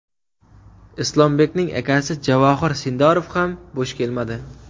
Islombekning akasi Javohir Sindorov ham bo‘sh kelmadi.